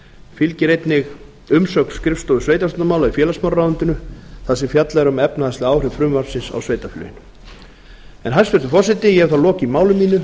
fylgir einnig umsögn skrifstofu sveitarstjórnarmála í félagsmálaráðuneytinu þar sem fjallað er um efnahagsleg áhrif frumvarpsins á sveitarfélögin hæstvirtur forseti ég hef þá lokið máli mínu